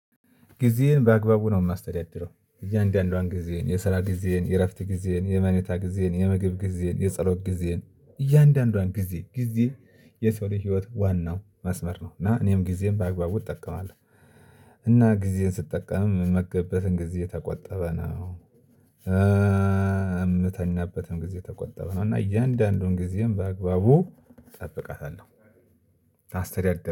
ጊዜየን በአግባቡ ነው የማስተዳድረው እያንዳንዷን ጊዜየን የስራ ጊዜየን የእረፍት ጊዜህን የመኔታ ጊዜየን የምግብ ጊዜየን የጸሎት ጊዜየን እያንዳንዷን ጊዜ ጊዜ የሰው ልጅ ህይወት ዋናው መስመር ነው እና እኔም ጊዜ ጊዜየን ም በአግባቡ እጠቀማለሁ። እና ጊዜየን ስጠቀም መገበትን ጊዜ ተቆጠበ ነው። የምተኛበትም ጊዜ የተቆጠብ ነው እና እያንዳንዱን ጊዜየን በአግባቡ እጠብቃታለሁ። አስተዳደር